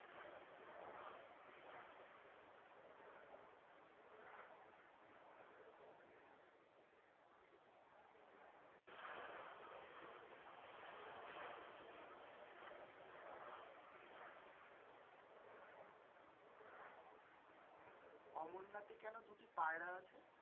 অমরনাথে কেনো দুটি পায়রা আছে?